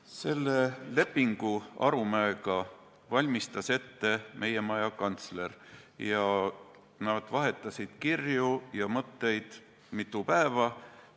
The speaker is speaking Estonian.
Selle lepingu Arumäega valmistas ette meie maja kantsler, nad vahetasid kirju ja mõtteid mitu päeva.